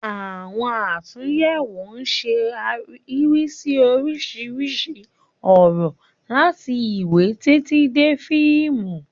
Àwọn àtúnyẹ̀wò ń ṣe àríwísí oríṣiríṣi ọ̀rọ̀, láti ìwé títí dé fíìmù